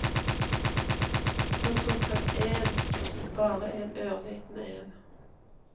Så tok han en, bare en ørliten en.